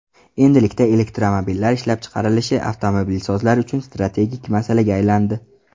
Endilikda elektromobillar ishlab chiqarilishi avtomobilsozlar uchun strategik masalaga aylandi.